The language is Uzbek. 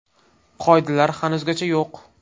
Qoidalar hanuzgacha yo‘q.